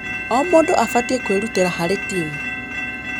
O mũndũ abatie kwĩrutĩra harĩ timu.